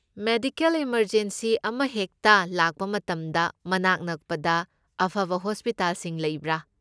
Medical emergency ꯑꯃꯍꯥꯛꯇ ꯂꯥꯛꯄ ꯃꯇꯝꯗ ꯃꯅꯥꯛ ꯅꯛꯄꯗ ꯑꯐꯕ ꯍꯣꯁꯄꯤꯇꯥꯜꯁꯤꯡ ꯂꯩꯕ꯭ꯔꯥ?